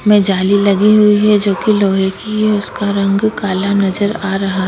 मे जाली लगी हुई है जोकि लोहे की है उसका रंग काला नज़र आ रहा --